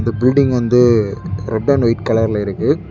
இந்த பில்டிங் வந்து red and white கலர்ல இருக்கு.